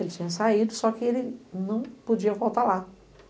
Ele tinha saído, só que ele não podia voltar lá.